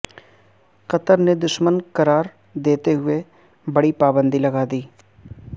قطر نے دشمن قرار دیتے ہوئے بڑی پابندی لگادی